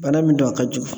Bana min don a ka jugu